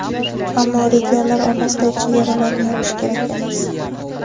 ammo regionlar orasidagi chegaralarni yopish kerak emas.